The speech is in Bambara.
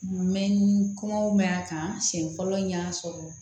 Mɛ ni kɔngɔ ma ɲi a kan siɲɛ fɔlɔ n y'a sɔrɔ